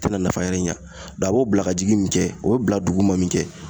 A tena nafa wɛrɛ ɲa dɔn a b'o bila ka jigin min kɛ o bila dugu ma min kɛ